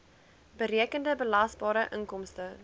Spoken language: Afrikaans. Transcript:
berekende belasbare inkomste